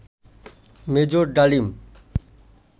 major Dalim